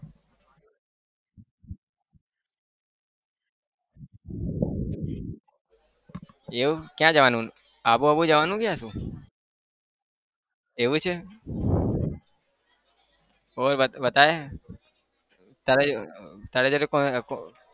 એવું ક્યાં જવાનું આબુ-વાબુ જવાનું છે કે શું? એવું છે? બોલ बताई તારા જોડે